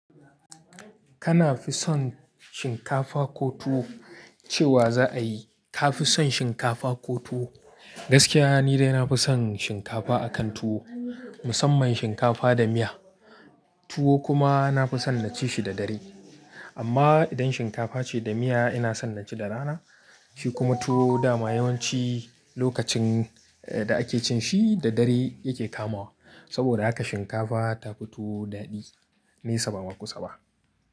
Kana fi son shinkafa ko tuwo cewa za a yi? Ka fi son shinkafa ko tuwo? Gaskiya ni dai na fi son shinkafa akan tuwo, musamman shinkafa da miya. Tuwo kuma na fi son naci shi da dare. Amma idan shinkafa ce da miya ina son naci da rana, shi kuma tuwo dama yawanci lokacin da ake cin shi da dare yake kamawa. Saboda haka shinkafa tafi tuwo daɗi, nei saba ma kusa ba.